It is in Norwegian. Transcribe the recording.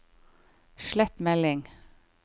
slett melding